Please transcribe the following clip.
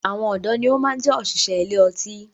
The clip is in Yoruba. Àwọn ọdọ ni ó máa ń jẹ òṣìṣẹ́ ilé ọtí